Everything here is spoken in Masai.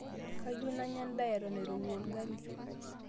kayieu nanya endaa eton eirowua olgali